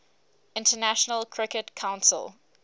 international cricket council